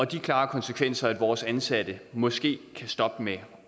de klare konsekvenser at vores ansatte måske stopper med